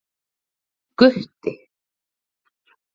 Gutti